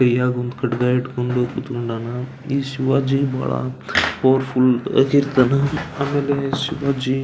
ಕೈಯಾಗ್ ಒಂದ್ ಖಡ್ಗ ಹಿಡ್ಕೊಂಡನ ಈ ಶಿವಾಜಿ ಬಹಳ ಪವರ್ಫುಲ್ ಇರ್ತನಾ ಆಮೇಲೆ ಶಿವಾಜಿ.